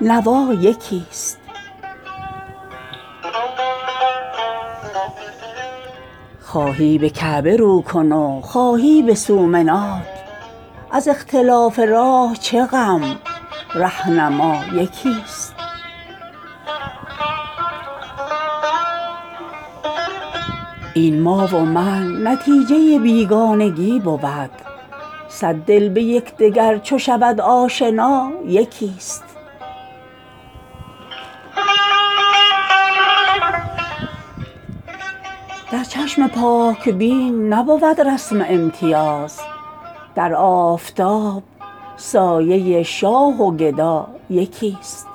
نوا یکی است هر موج ازین محیط اناالبحر می زند گر صد هزار دست برآید دعا یکی است خواهی به کعبه رو کن و خواهی به سومنات از اختلاف راه چه غم رهنما یکی است این ما و من نتیجه بیگانگی بود صد دل به یکدگر چو شود آشنا یکی است در کام هر که محو شود در رضای دوست با نیشکر حلاوت تیر قضا یکی است در چشم پاک بین نبود رسم امتیاز در آفتاب سایه شاه و گدا یکی است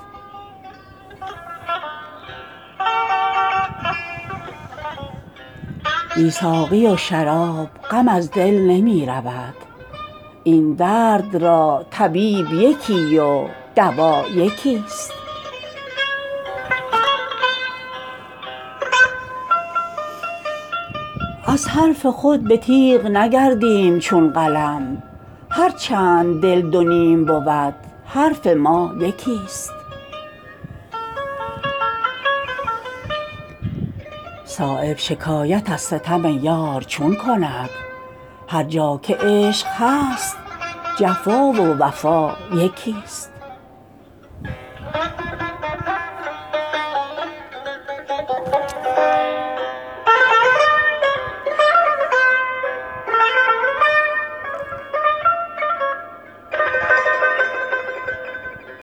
پروای سرد و گرم خزان و بهار نیست آن را که همچو سرو و صنوبر قبا یکی است بی ساقی و شراب غم از دل نمی رود این درد را طبیب یکی و دوا یکی است هر چند نقش ما یک و از دیگران شش است نومید نیستیم ز بردن خدا یکی است دانند عاقلان که ظفر در رکاب کیست هر چند دانه بیعدد و آسیا یکی است از حرف خود به تیغ نگردیم چون قلم هر چند دل دو نیم بود حرف ما یکی است صایب شکایت از ستم یار چون کند هر جا که عشق هست جفا و وفا یکی است